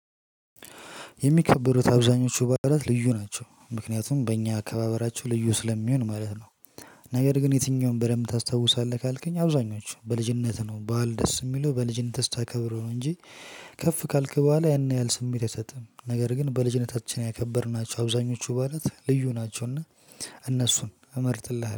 የሚከበሩት አብዛኞቹ በዓላት ልዩ ናቸው ምክንያቱም በእኛ አከባበራቸው ልዩ ስለሚሆን ማለት ነው። ነገር ግን የትኛውን በደንብ ታስታውሳለህ? ካልከኝ አብዛኞቹ በልጅነትህ ነው ባል ደስ የሚለው በልጅነትህ ስታከብረው ነው እንጂ ከፍ ካልክ በኋላ ያን ያህል ስሜት አይሰጥም ነገር ግን በልጅነታችን ያከበርናቸው አብዛኞቹ በዓላት ልዩ ናቸውና እነሱን እመርጥልሃለሁ።